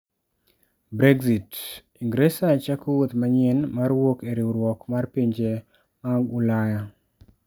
Brexit: Ingresa chako wuoth manyien mar wuok e riwruok mar pinje mag Ulaya